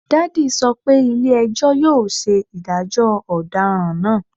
Daddy sọ pe ile-ẹjọ yoo ṣe idajọ ọdaràn naa